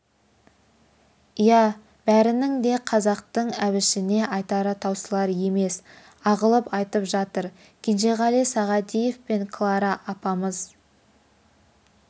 иә бәрінің де қазақтың әбішіне айтары таусылар емес ағылып айтып жатыр кенжеғали сағадиев пен клара апамыз